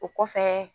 O kɔfɛ